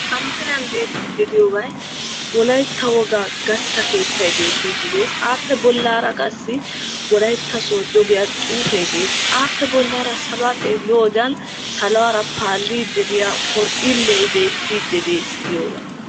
ha misiliyan bettiyabay wolaytta woga gatta keettay betessi wolaytta sodo giya xuuphe bettessi appekka bola bagara xeeliyode tokkipali paalidi beettessi.